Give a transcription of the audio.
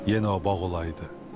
Yenə o bağ olaydı.